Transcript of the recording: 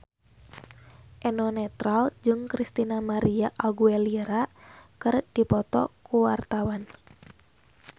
Eno Netral jeung Christina María Aguilera keur dipoto ku wartawan